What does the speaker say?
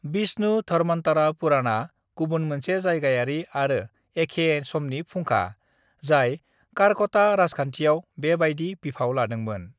"विष्णुधर्म'त्तारा पुराणआ गुबुन मोनसे जायगायारि आरो एखे समनि फुंखा, जाय कारक'टा राजखान्थियाव बेबायदि बिफाव लादोंमोन।"